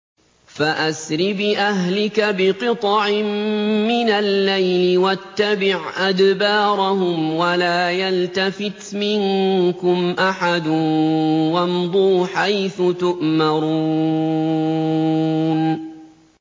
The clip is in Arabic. فَأَسْرِ بِأَهْلِكَ بِقِطْعٍ مِّنَ اللَّيْلِ وَاتَّبِعْ أَدْبَارَهُمْ وَلَا يَلْتَفِتْ مِنكُمْ أَحَدٌ وَامْضُوا حَيْثُ تُؤْمَرُونَ